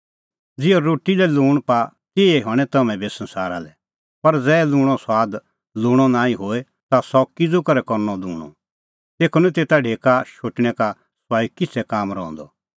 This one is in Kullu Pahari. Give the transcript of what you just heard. ज़िहअ रोटी लै लूंण पाआ तिहै हणैं तम्हैं बी संसारा लै पर ज़ै लूंणो सुआद लूंणअ नांईं होए ता सह किज़ू करै करनअ लूंणअ तेखअ निं तेता ढेका शोटणै का सुआई किछ़ै काम रहंदअ